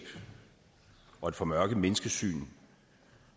og et formørket menneskesyn